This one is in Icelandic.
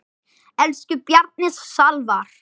Elsku Bjarni Salvar.